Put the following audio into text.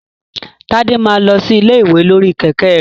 Tade máa lọ sí ilé ìwé lórí kẹ̀kẹ́ rẹ̀.